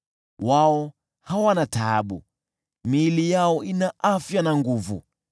Wao hawana taabu, miili yao ina afya na nguvu.